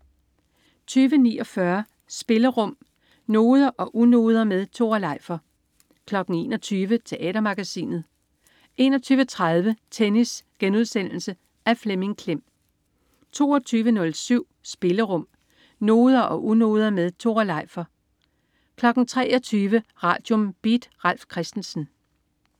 20.49 Spillerum. Noder og unoder med Tore Leifer 21.00 Teatermagasinet 21.30 Tennis.* Af Flemming Klem 22.07 Spillerum. Noder og unoder med Tore Leifer 23.00 Radium. Beat. Ralf Christensen